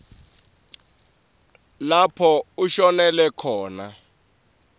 lapho ashonele khona